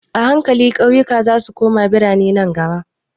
A hankali ƙauyuka zasu koma biranai nan gaba.